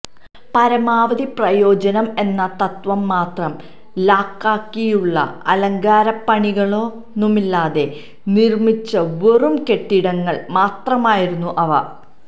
പരമാവധി പ്രയോജനം എന്ന തത്വം മാത്രം ലാക്കാക്കിയുളള അലങ്കാരപ്പണികളൊന്നുമില്ലാതെ നിർമ്മിച്ച വെറും കെട്ടിടങ്ങൾ മാത്രമായിരുന്നു അവ